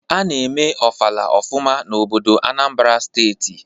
A na-eme ofala ofụma n'obodo Anambra steeti.